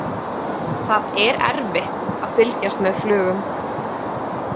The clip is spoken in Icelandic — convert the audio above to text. Það er erfitt að fylgjast með flugum.